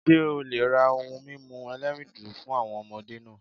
Ṣé o le ra ohun mímu ẹlẹ́rìndòdò fún àwọn ọmọdé náà